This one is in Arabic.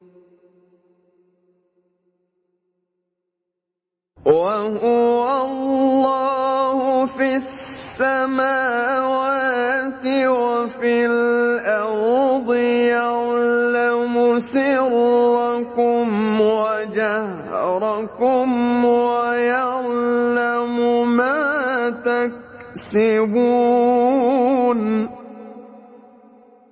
وَهُوَ اللَّهُ فِي السَّمَاوَاتِ وَفِي الْأَرْضِ ۖ يَعْلَمُ سِرَّكُمْ وَجَهْرَكُمْ وَيَعْلَمُ مَا تَكْسِبُونَ